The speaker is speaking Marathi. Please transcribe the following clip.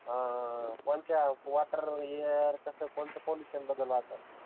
कोणच्या वाटर इयर कस कोणच पॉल्युशन बद्दल वाचत